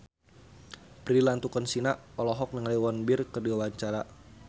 Prilly Latuconsina olohok ningali Won Bin keur diwawancara